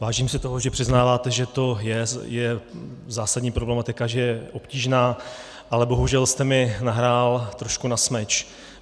Vážím si toho, že přiznáváte, že to je zásadní problematika, že je obtížná, ale bohužel jste mi nahrál trošku na smeč.